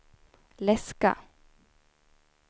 läska